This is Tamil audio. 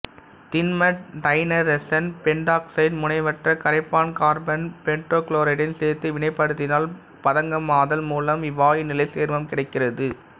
திண்ம டைநைட்ரசன் பெண்டாக்சைடை முனைவற்ற கரைப்பான் கார்பன் டெட்ராகுளோரைடுடன் சேர்த்து வினைப்படுத்தினால் பதங்கமாதல் மூலம் இவ்வாயுநிலை சேர்மம் கிடைக்கிறது